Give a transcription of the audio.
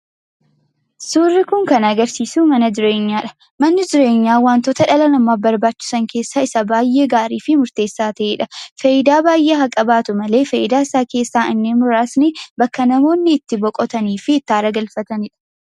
Suurri kun kan agarsiisu mana jireenyaadha. Manni jireenyaa wantoota dhala namaaf barbaachisan keessaa isa baay'ee gaarii fi murteessaa ta'edha. Fayidaa baay'ee haa qabaatu malee fayidaasaa keessaa inni muraasni bakka namoonni itti boqotanii fi aara itti galfatanidha.